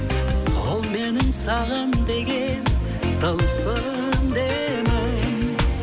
сол менің саған деген тылсым демім